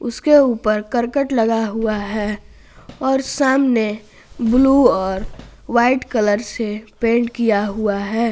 उसके ऊपर करकट लगा हुआ है और सामने ब्लू और व्हाइट कलर से पेंट किया हुआ है।